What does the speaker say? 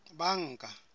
banka